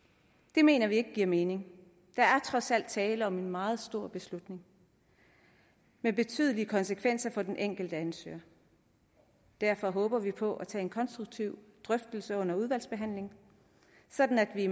det mener vi ikke giver mening der er trods alt tale om en meget stor beslutning med betydelige konsekvenser for den enkelte ansøger derfor håber vi på at tage en konstruktiv drøftelse under udvalgsbehandlingen sådan at vi